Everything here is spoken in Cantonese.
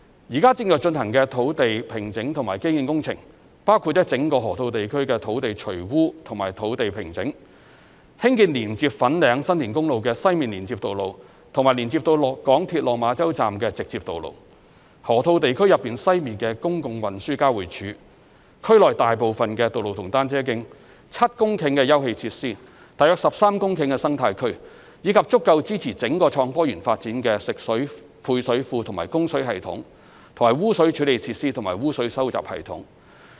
現正進行的土地平整及基建工程，包括了整個河套地區的土地除污及工地平整，興建連接粉嶺/新田公路的西面連接道路及連接到港鐵落馬洲站的直接道路、河套地區內西面的公共運輸交匯處、區內大部分道路和單車徑、7公頃的休憩設施、約13公頃的生態區，以及足夠支持整個創科園發展的食水配水庫、供水系統、污水處理設施及污水收集系統。